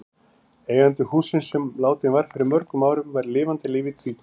Eigandi hússins, sem látinn var fyrir mörgum árum, var í lifanda lífi tvíkvæntur.